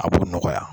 A b'o nɔgɔya